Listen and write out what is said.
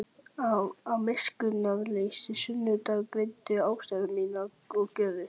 Af miskunnarleysi sundurgreindi hún ástæður mínar og gjörðir.